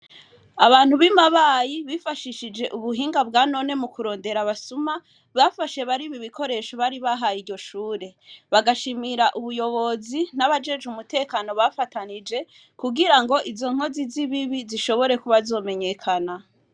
Abantu b'i Mabayi bifashishije ubuhinga bwa none mu kurondera abasuma bafashe bariko bariba ibikoresho bari bahaye iryo shure. Bagashimira ubuyobozi n'abajejwe umutekano bafatanije kugira ngo izo nkozi z'ibibi zishobora kuba zomenyekana.